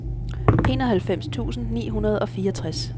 enoghalvfems tusind ni hundrede og fireogtres